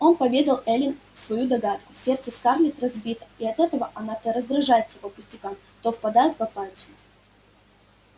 он поведал эллин свою догадку сердце скарлетт разбито и от этого она то раздражается по пустякам то впадает в апатию